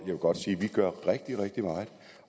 vil godt sige at vi gør rigtig rigtig meget